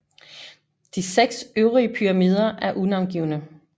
De seks øvrige pyramider er unavngivne